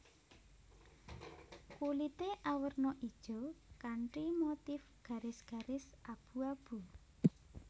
Kulité awerna ijo kanthi motif garis garis abu abu